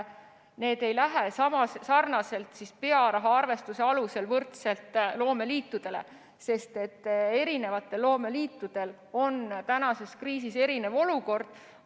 See ei lähe loomeliitudele pearahaarvestuse alusel, sest eri loomeliitudel on kriisis erinev olukord.